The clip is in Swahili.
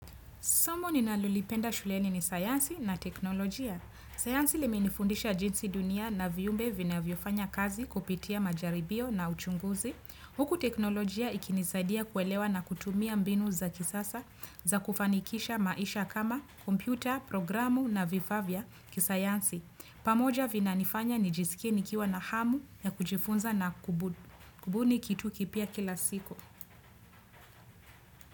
Somo ninalolipenda shuleni ni sayansi na teknolojia. Sayansi limenifundisha jinsi dunia na viumbe vinavyofanya kazi kupitia majaribio na uchunguzi. Huku teknolojia ikinisaidia kuelewa na kutumia mbinu za kisasa za kufanikisha maisha kama kompyuta, programu na vifaa vya kisayansi. Pamoja vinanifanya nijisikie nikiwa na hamu ya kujifunza na kubuni kitu kipya kila siku.